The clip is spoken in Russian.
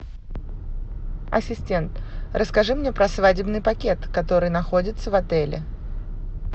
ассистент расскажи мне про свадебный пакет который находится в отеле